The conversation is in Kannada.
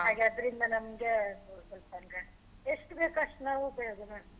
ಆಗ ಅದ್ರಿಂದ ನಮ್ಗೆ ಸ್ವಲ್ಪ ಅಂದ್ರೆ ಎಷ್ಟು ಬೇಕು ಅಷ್ಟು ನಾವ್ ಉಪಯೋಗ ಮಾಡ್ತಿವಿ.